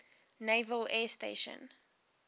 naval air station